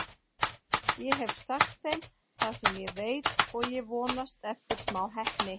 Ég hef sagt þeim það sem ég veit og ég vonast eftir smá heppni.